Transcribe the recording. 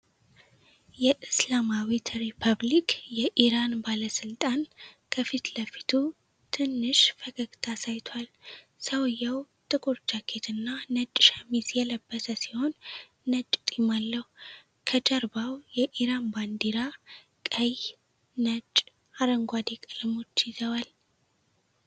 የእስላማዊት ሪፐብሊክ የኢራን ባለስልጣን ከፊት ለፊቱ ትንሽ ፈገግታ አሳይቷል። ሰውንዬው ጥቁር ጃኬት እና ነጭ ሸሚዝ የለበሰ ሲሆን ነጭ ጢም አለው። ከጀርባው የኢራን ባንዲራ ቀይ፣ ነጭ እና አረንጓዴ ቀለሞች ይዘዋል።